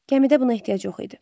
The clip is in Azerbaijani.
Gəmidə buna ehtiyac yox idi.